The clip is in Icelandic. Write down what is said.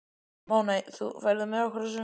Máney, ferð þú með okkur á sunnudaginn?